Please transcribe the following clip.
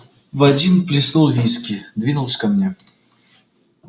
в один плеснул виски двинулся ко мне